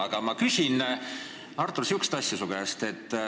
Aga ma küsin, Artur, su käest sellist asja.